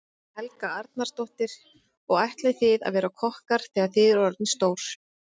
Helga Arnardóttir: Og ætlið þið að verða kokkar þegar þið eruð orðnir stórir?